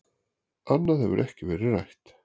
Annað hefur ekkert verið rætt